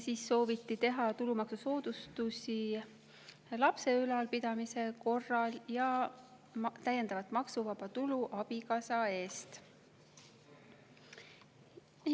Siis sooviti teha tulumaksusoodustusi lapse ülalpidamise korral ja täiendav maksuvaba tulu abikaasa eest.